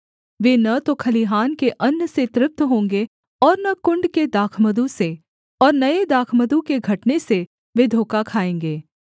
वे न तो खलिहान के अन्न से तृप्त होंगे और न कुण्ड के दाखमधु से और नये दाखमधु के घटने से वे धोखा खाएँगे